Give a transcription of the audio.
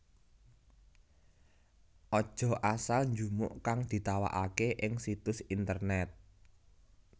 Aja asal njupuk kang ditawakaké ing situs internèt